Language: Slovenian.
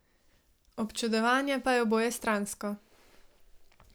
Občudovanje pa je obojestransko.